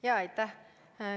Aitäh!